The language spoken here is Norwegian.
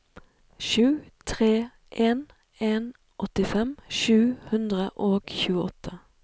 sju tre en en åttifem sju hundre og tjueåtte